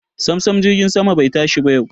Samsam jirgin sama bai tashi ba yau.